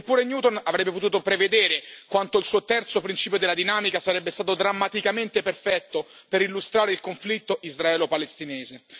Neppure Newton avrebbe potuto prevedere quanto il suo terzo principio della dinamica sarebbe stato drammaticamente perfetto per illustrare il conflitto israelo palestinese.